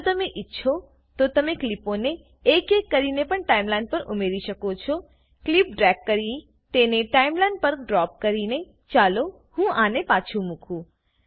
જો તમે ઈચ્છો તો તમે ક્લીપોને એક એક કરીને પણ ટાઈમલાઈન પર ઉમેરી શકો છો ક્લીપ ડ્રેગ કરી તેને ટાઈમલાઈન પર ડ્રોપ કરીને ચાલો હું આને પાછું મુકું